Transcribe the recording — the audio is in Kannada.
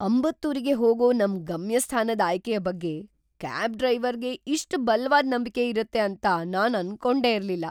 ಅಂಬತ್ತೂರಿಗೆ ಹೋಗೋ ನಮ್ ಗಮ್ಯಸ್ಥಾನದ್ ಆಯ್ಕೆಯ ಬಗ್ಗೆ ಕ್ಯಾಬ್ ಡ್ರೈವರ್ಗೆ ಇಷ್ಟ್ ಬಲ್ವಾದ ನಂಬಿಕೆ ಇರುತ್ತೆ ಅಂತ ನಾನ್ ಅನ್ಕೊಂಡೆ ಇರ್ಲಿಲ್ಲ.